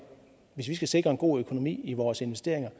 hvis vi skal sikre en god økonomi i vores investeringer